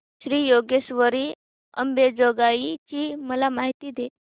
श्री योगेश्वरी अंबेजोगाई ची मला माहिती दे